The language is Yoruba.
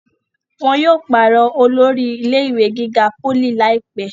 wọn yóò pàrọ̀ olórí ilé ìwé gíga pólì láìpẹ́